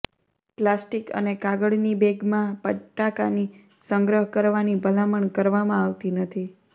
plastic અને કાગળની બેગમાં બટાકાની સંગ્રહ કરવાની ભલામણ કરવામાં આવતી નથી